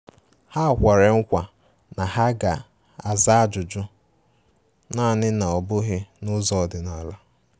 Ha kwere nkwa na ha ga-aza ajụjụ, naani na ọ bughi n'ụzọ ọdịnala.